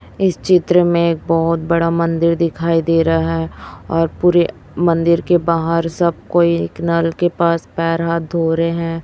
इस चित्र में बहोत बड़ा मंदिर दिखाई दे रहा और पूरे मंदिर के बाहर सब कोई एक नल के पास पैर हाथ धो रहे हैं।